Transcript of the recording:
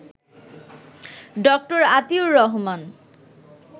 ড. আতিউর রহমান